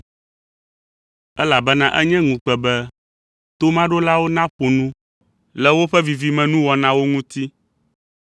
Elabena enye ŋukpe be tomaɖolawo naƒo nu le woƒe vivimenuwɔnawo ŋuti.